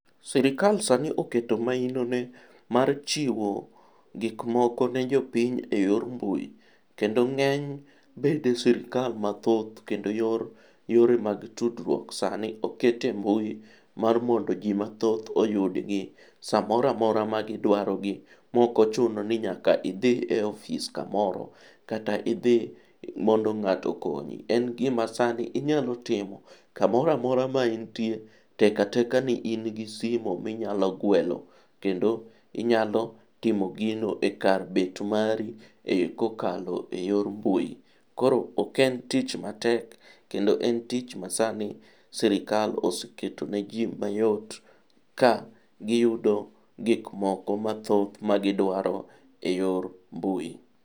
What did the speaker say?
Sirikal sani oketo maino ne mar chiwo gik moko ne jopiny e yor mbui. Kendo ng'eny bede sirikal mathoth kendo yor yore mag tudruok sani okete embui mar mondo jii mathoth oyudgi samoramora ma gidwaro gi mokochuno ni nyaka idhi e ofis kamoro kata idhi mondo ng'ato okonyo. En gima sani inyalo timo kamoramora ma intie tekateka ni in gi simu minyalo gwelo kendo inyalo timo gino e kar bet mari e kokalo e yor mbui. Koro ok en tich matek kendo en tich masani sirikal oseketo ne jii mayot ka giyudo gik moko mathoth ma gidwaro e yor mbui.